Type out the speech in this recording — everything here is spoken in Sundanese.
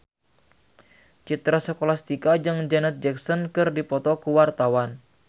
Citra Scholastika jeung Janet Jackson keur dipoto ku wartawan